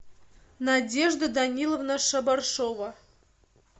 надежда даниловна шабаршова